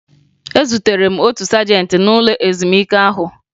Ezutere m otu sajentị n'ụlọ ezumike ahụ